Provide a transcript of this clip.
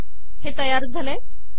हे तयार झाले